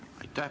Aitäh!